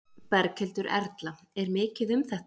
Berghildur Erla: Er mikið um þetta?